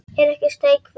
Er ekki steik fyrst?